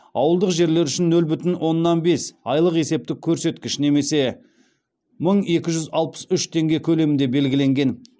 ауылдық жерлер үшін нөл бүтін оннан бес айлық есептік көрсеткіш немесе мың екі жүз алпыс үш теңге көлемінде белгіленген